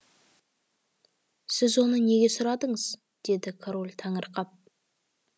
сіз оны неге сұрадыңыз деді король таңырқап